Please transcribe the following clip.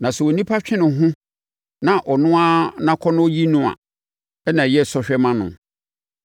Na sɛ onipa twe ne ho na ɔno ara nʼakɔnnɔ yi no a, na ayɛ sɔhwɛ ama no.